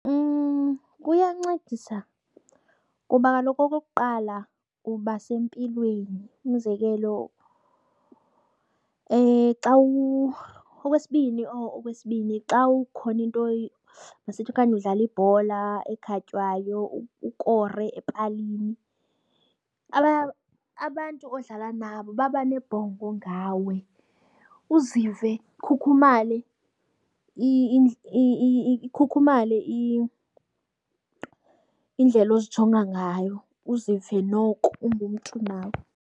Kuyancedisa kuba kaloku okokuqala uba sempilweni, umzekelo xa . Okwesibini or okwesibini xa ukhona into masithi okanye udlala ibhola ekhatywayo ukore epalini, abantu odlala nabo baba nebhongo ngawe uzive ukhukhumale ikhukhumale indlela ozijonga ngayo uzive noko ungumntu nawe.